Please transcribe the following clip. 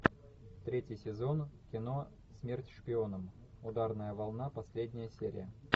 третий сезон кино смерть шпионам ударная волна последняя серия